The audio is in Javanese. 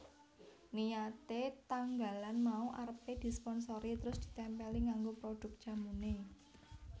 Niyate tanggalan mau arepe disponsori terus ditempeli nganggo produk jamune